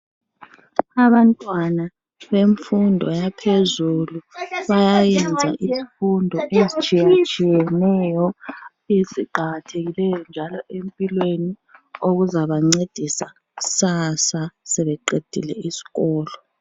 Abantwana bemfundo yaphezulu bayayenza izifundo ezitshiye tshiyeneyo , eziqakathekileyo njalo empilweni okuzabancedisa kusasa sebeqedile iskolo.